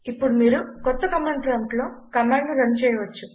ఇప్పుడు మీరు కొత్త కమాండ్ ప్రాంప్ట్ లో కమాండ్ ను రన్ చేయవచ్చు